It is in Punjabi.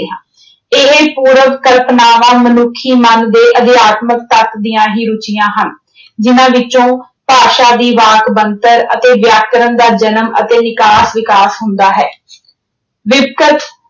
ਇਹ ਪੂਰਵ ਕਲਪਨਾਵਾਂ ਮਨੁੱਖੀ ਮਨ ਦੇ ਅਧਿਆਤਮਕ ਤੱਤ ਦੀਆਂ ਹੀ ਰੁਚੀਆਂ ਹਨ। ਜਿਨ੍ਹਾਂ ਵਿੱਚੋਂ ਭਾਸ਼ਾ ਦੀ ਵਾਕ ਬਣਤਰ ਅਤੇ ਵਿਆਕਰਣ ਦਾ ਜਨਮ ਅਤੇ ਵਿਕਾਸ ਅਹ ਵਿਕਾਸ ਹੁੰਦਾ ਹੈ।